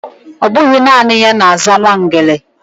Ọbụghị naanị na-aza Nwangele